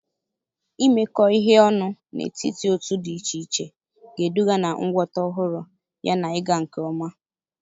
Imekọ ihe ọnụ n'etiti otu dị iche iche ga-eduga na ngwọta ọhụrụ yana ịga nke ọma.